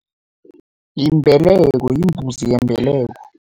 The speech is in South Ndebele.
Yimbeleko, yimbuzi yembeleko.